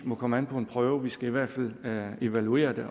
må komme an på en prøve vi skal i hvert fald evaluere det